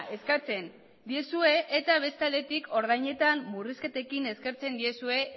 eskatzen diezue eta beste aldetik ordainetan murrizketekin eskertzen diezue